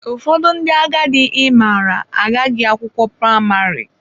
Ụfọdụ ndị agadi ị maara agụghị akwụkwọ praịmarị.